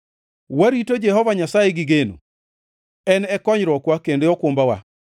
Warito Jehova Nyasaye gi geno; en e konyruokwa kendo okumbawa.